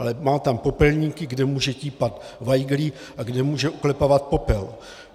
Ale má tam popelníky, kde může típat vajgly a kde může oklepávat popel.